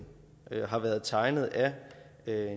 har været tegnet af